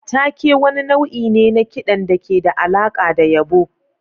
Take wani nau'i ne na kiɗan da ke da alaƙa da yabo.